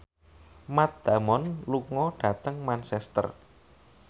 Matt Damon lunga dhateng Manchester